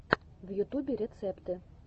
в ютубе рецепты